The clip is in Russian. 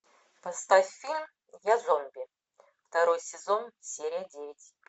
поставь фильм я зомби второй сезон серия девять